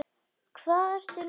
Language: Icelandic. Hvað ertu nú að rugla!